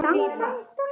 Þetta var stórt ár.